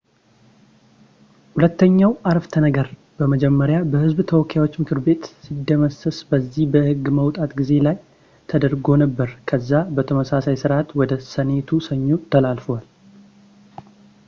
ሁለተኛው ዓረፍተነገር መጀመሪያ በህዝብ ተወካዮች ምክር ቤት ሲደመሰስ በዚህ በህግ ማውጣት ጊዜ ላይ ለውጥ ተደርጎ ነበር ከዛ በተመሳሳይ ስርዓት ወደ ሴኔቱ ሰኞ ተላልፏል